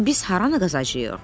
Biz haranı qazacağıq?